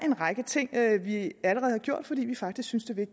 en række ting vi allerede har gjort fordi vi faktisk synes at det